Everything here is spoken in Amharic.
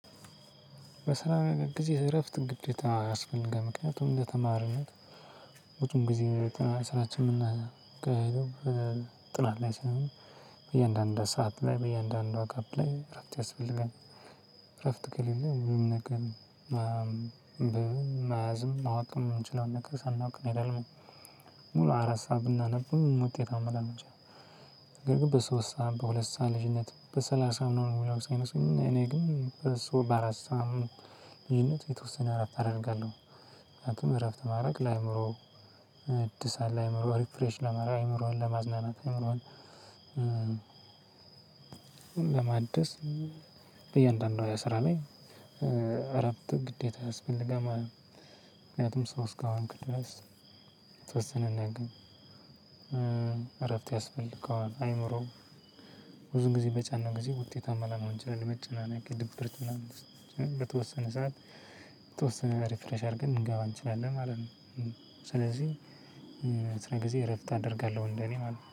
በስራ ጊዜ እረፍትም ግዴታ ያስፈልጋል። ምክንያቱም እንደተማሪነት ሁለቱም ጊዜ ስራችን የምናካሂደው ጥናት ላይ ስለሆነ በየአንድ አንዷ ሰዓት ላይ በየአንድ አንዷ ጋፕ ላይ እረፍት ያስፈልጋል። እረፍት ከሌለ ሁሉም ነገር መያዝም ማወቅም ምንችለውን ነገር ሳናውቅ እንሄዳለን ማለት ነው። ሙሉ አራት ሰዓት ብናነብም ውጤታማ ላንሆን እንችላለን። ነገር ግን በሶስት ሰዓት በሁለት ሰዓት ልዩነት በሰላሳም ነው ምንም ሳይመስለኝ እኔ ግን በሶስት በአራት ሰዓትም ልዩነት የተወሰነ እረፍት አደርጋለሁ። ምክንያቱም እረፍት ማድረግ ለአእምሮ እድሳ ለአእምሮ ሪፍሬሽ ለማድረግ አእምሮህን ለማዝናናት አእምሮህን ለማደስ በእያንዳንዱ የስራ ላይ እረፍት ግዴታ ያስፈልጋል ማለት ነው። ምክንያቱም ሰው እስከሆንክ ድረስ የተወሰንን ነን ግን እረፍት ያስፈልገዋል አእምሮ ብዙ ጊዜ በጫነው ጊዜ ውጤታማ ላንሆን እንችላለን። ለመጨናነቅ ድብርት ምናምን በተወሰነ ሰዓት የተወሰነ ሪፍሬሽ አድርገን ልንገባ እንችላለን ማለት ነው። ስለዚህ ስራ ጊዜ እረፍት አደርጋለሁ እንደኔ ማለት ነው።